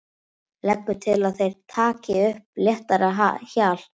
Leggur til að þeir taki upp léttara hjal.